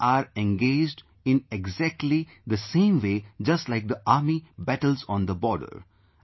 So, we are engaged in exactly the same way just like the army battles on the border